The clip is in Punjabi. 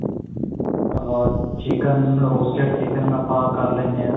ah chicken roasted chicken ਆਪਾਂ ਕਰ ਲੈਨੇ ਆਂ